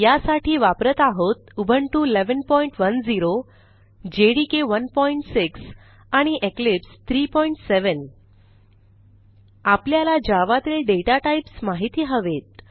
यासाठी वापरत आहोत उबुंटू 1110 जेडीके 16 आणि इक्लिप्स 37 आपल्याला जावा तील दाता टाइप्स माहिती हवेत